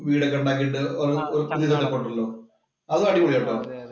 വീടൊക്കെ ഒക്കെ ഉണ്ടാക്കീട്ടു ഒരു ഉണ്ടല്ലോ? അതും അടിപൊളിയാ കേട്ടോ